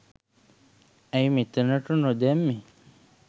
ඇයි මෙතනට නොදැම්මෙ